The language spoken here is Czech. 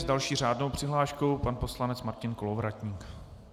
S další řádnou přihláškou pan poslanec Martin Kolovratník.